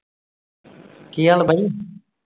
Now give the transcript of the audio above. ਕੀ ਹਾਲ ਭਾਜੀ?